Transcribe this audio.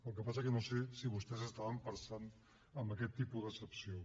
el que passa és que no sé si vostès estaven pensant en aquest tipus d’excepció